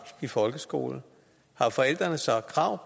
i folkeskolen har forældrene så krav